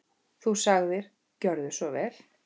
Þú sagðir: Gjörðu svo vel.